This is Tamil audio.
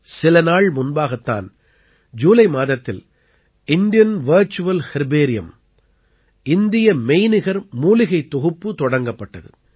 சில நாள் முன்பாகத் தான் ஜூலை மாதத்தில் இந்தியன் வர்ச்சுவல் ஹெர்பேரியம் இந்திய மெய்நிகர் மூலிகைத் தொகுப்பு தொடங்கப்பட்டது